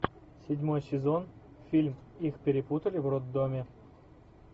седьмой сезон фильм их перепутали в роддоме